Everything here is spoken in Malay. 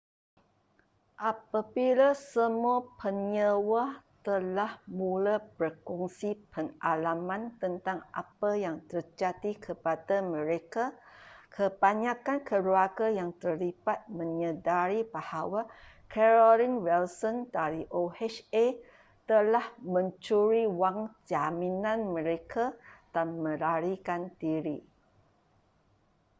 apabila semua penyewa telah mula berkongsi pengalaman tentang apa yang terjadi kepada mereka kebanyakan keluarga yang terlibat menyedari bahawa carolyn wilson dari oha telah mencuri wang jaminan mereka dan melarikan diri